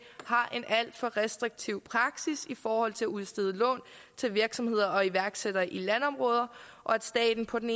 har en alt for restriktiv praksis i forhold til at udstede lån til virksomheder og iværksættere i landområder og at staten på den